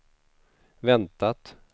väntat